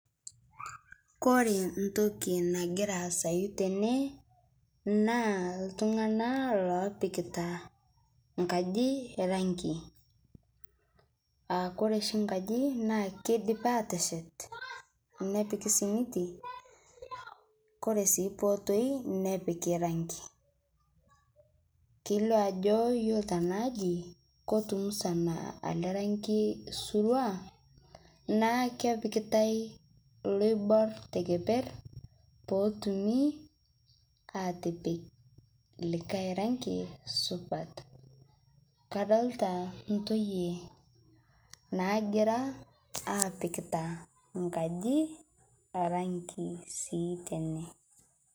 Kore ntokii nagira aasayu tene naa ltung'ana lopiikita nkaaji rangi, aa kore sii nkaaji naa keidiipi atesheet nepiiki simitii kore sii poo otooi nepiiki rangii. Keiloo ajoo iyelo taneaaaji kotumusana ele rangii suruaa naa kepikitai looibuar te kepeer poo otumii atipiik likai rangii supaat. Kadolita ntoiye nagira apiiitak nkaaji rangii sii tene.